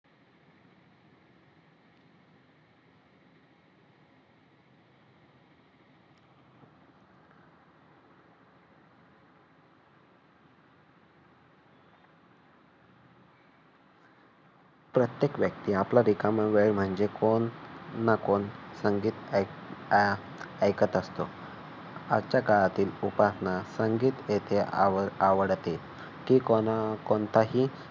प्रत्येक व्यक्ती आपला रिकामा वेळ म्हणजे कोण ना कोण संगीत अह ऐकत असतो. आजच्या काळातील उपासना संगीत येथे आवडते की कोणताही